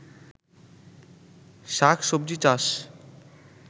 শাক সবজি চাষ